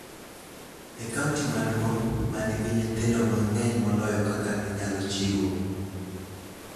e kaonti maduong� ma nigi nyithindo mang�eny moloyo kaka ginyalo chiwo.